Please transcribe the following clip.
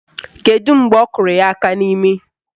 Kedu mgbe ọ kụrụ ya aka n'imi?